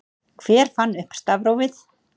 hver fann upp stafrófið